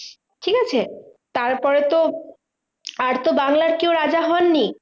তারপরে তো আর তো বাংলার কেউ রাজা হননি?